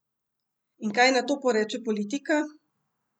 In kaj na to poreče politika?